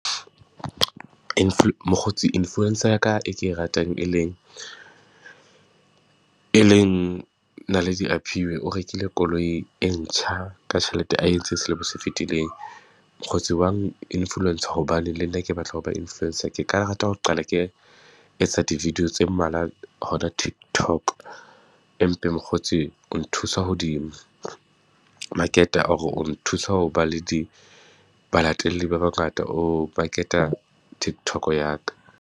Mokgotsi influencer ya ka e ke e ratang e leng, e leng Naledi Aphiwe o rekile koloi e ntjha ka tjhelete a e entse selemo se fitileng. Mokgotsi wa influence hobane le nna ke batla ho ba influencer. Ke ka rata ho qala ke etsa di-video tse mmalwa hona Tiktok. Empe mokgotsi o nthusa hodimo market-a, or nthusa ho ba le di balatelli ba bangata, o maqeta Tiktok-o ya ka.